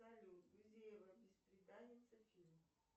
салют гузеева бесприданница фильм